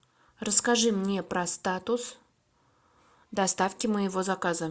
расскажи мне про статус доставки моего заказа